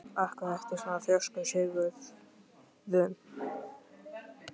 Af hverju ertu svona þrjóskur, Sigurður?